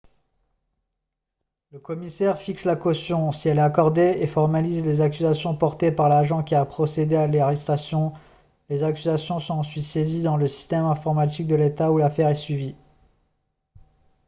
le commissaire fixe la caution si elle est accordée et formalise les accusations portées par l'agent qui a procédé à l'arrestation les accusations sont ensuite saisies dans le système informatique de l'état où l'affaire est suivie